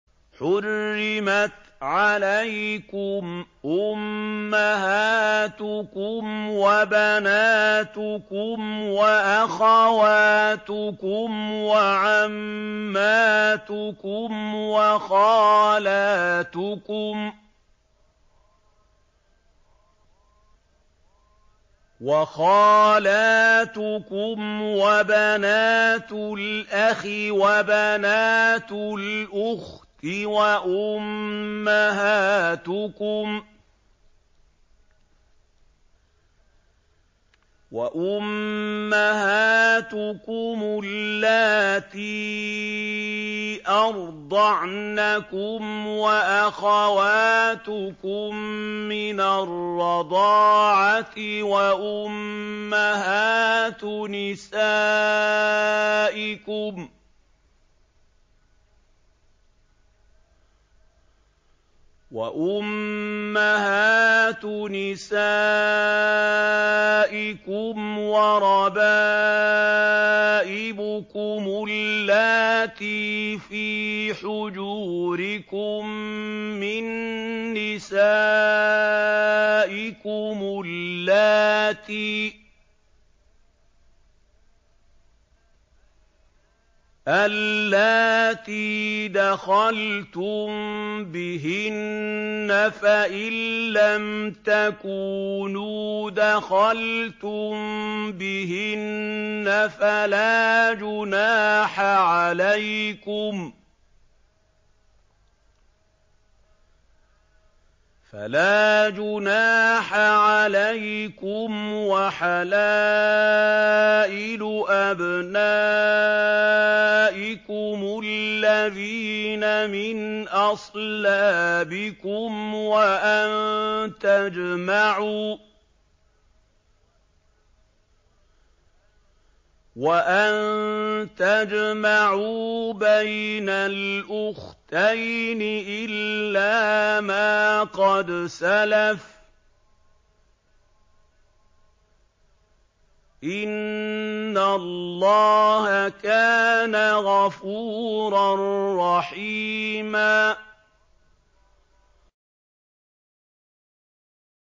حُرِّمَتْ عَلَيْكُمْ أُمَّهَاتُكُمْ وَبَنَاتُكُمْ وَأَخَوَاتُكُمْ وَعَمَّاتُكُمْ وَخَالَاتُكُمْ وَبَنَاتُ الْأَخِ وَبَنَاتُ الْأُخْتِ وَأُمَّهَاتُكُمُ اللَّاتِي أَرْضَعْنَكُمْ وَأَخَوَاتُكُم مِّنَ الرَّضَاعَةِ وَأُمَّهَاتُ نِسَائِكُمْ وَرَبَائِبُكُمُ اللَّاتِي فِي حُجُورِكُم مِّن نِّسَائِكُمُ اللَّاتِي دَخَلْتُم بِهِنَّ فَإِن لَّمْ تَكُونُوا دَخَلْتُم بِهِنَّ فَلَا جُنَاحَ عَلَيْكُمْ وَحَلَائِلُ أَبْنَائِكُمُ الَّذِينَ مِنْ أَصْلَابِكُمْ وَأَن تَجْمَعُوا بَيْنَ الْأُخْتَيْنِ إِلَّا مَا قَدْ سَلَفَ ۗ إِنَّ اللَّهَ كَانَ غَفُورًا رَّحِيمًا